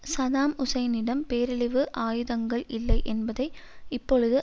Saddam ஹுசைனிடம் பேரழிவு ஆயுதங்கள் இல்லை என்பதை இப்பொழுது